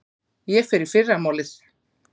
Ég fer í fyrramálið.